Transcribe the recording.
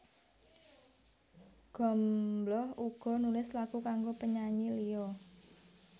Gombloh uga nulis lagu kanggo penyanyi liya